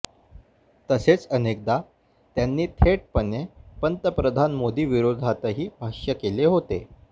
तसेच अनेकदा त्यांनी थेटपणे पंतप्रधान मोदींविरोधातही भाष्य केले होते